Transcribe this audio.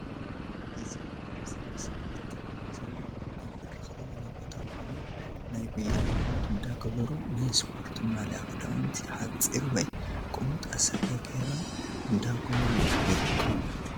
እ ዚ ኣብ እዚ ምስሊ ትርእዎ ዘለኩም ኣብ ብርኽ ዝበለ ቦታ ኮይኖም ናይ ጉያ ልምምድ እዳገበሩ ናይ እስፖርት ማልያ ክዳዊንት ሓፅሪ ወይ ቁምጣ ሰረ ገይሮም እዳጎየዩ ይርከቡ።